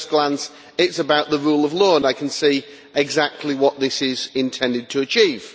At first glance, it's about the rule of law, and I can see exactly what this is intended to achieve.